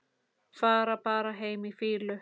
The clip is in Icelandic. Fara bara heim í fýlu?